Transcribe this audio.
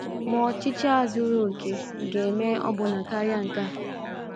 Ma ọchịchị a zuru okè ga - eme ọbụna karịa nke a.